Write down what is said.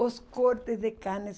Os cortes de carne.